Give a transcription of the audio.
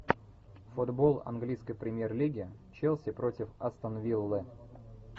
футбол английской премьер лиги челси против астон виллы